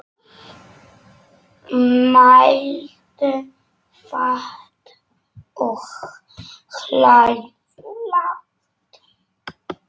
Mæltu fátt og hlæðu lágt.